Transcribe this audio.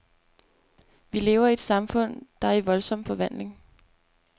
Vi lever i et samfund, der er i voldsom forvandling.